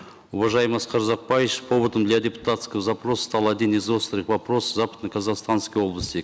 уважаемый аскар узакбаевич поводом для депутатского запроса стал один из острых вопросов западно казахстанской области